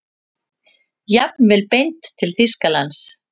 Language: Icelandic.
Jafnvel beint til Þýskalands.